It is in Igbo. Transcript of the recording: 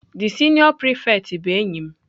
The senior prefect girl bụ enyi m.